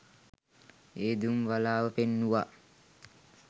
ඒ දුම් වළාව පෙන්නුවා.